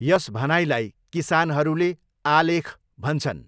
यस भनाइलाई किसानहरूले 'आलेख' भन्छन्।